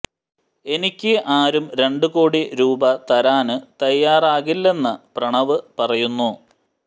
എനിക്ക് ആരും രണ്ടു കോടി രൂപ തരാന് തയ്യാറാകില്ലെന്ന് പ്രണവ് പറയുന്നു